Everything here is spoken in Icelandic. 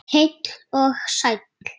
Heill og sæll!